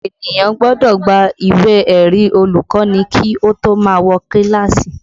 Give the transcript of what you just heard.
Ènìyàn gbọ́dọ̀ gba ìwé ẹ̀rí olùkọ́ni kí ó tó má wọ kíláàsì